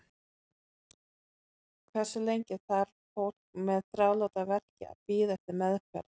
Hversu lengi þarf fólk með þráláta verki að bíða eftir meðferð?